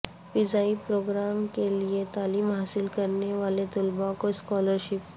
فضائی پروگرام کے لیے تعلیم حاصل کرنے والے طلبہ کو اسکالر شپس